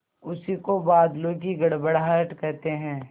उसी को बादलों की गड़गड़ाहट कहते हैं